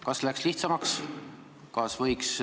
Kas läks lihtsamaks ja kas võiks ...